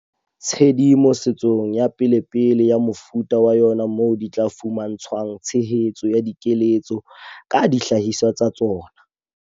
Tshedimo setsong ya pelepele ya mofuta wa yona moo di tla fuma ntshwang tshehetso ya dikeletso ka dihlahiswa tsa tsona.